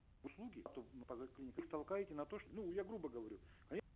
услуги то их толкаете на то что ну я грубо говорю они